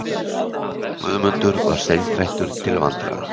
Guðmundur var seinþreyttur til vandræða